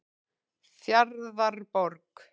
Fjarðarborg